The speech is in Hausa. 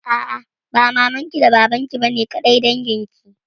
A'a, ba maman ki da baban ki ne kaɗai dangin ki.